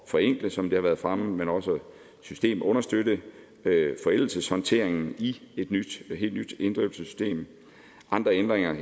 forenkle som det har været fremme men også systemunderstøtte forældelseshåndteringen i et helt nyt inddrivelsessystem andre ændringer